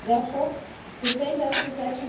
Therefore, the same data protection